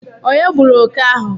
Onye gburu oke ahu?